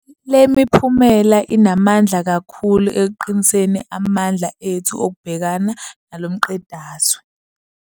Le miphumela inamandla kakhulu ekuqiniseni amandla ethu okubhekana nalo mqedazwe.